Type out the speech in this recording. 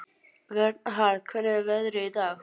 Vernharð, hvernig er veðrið í dag?